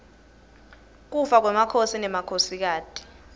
kufa kwemakhosi nemakhosikati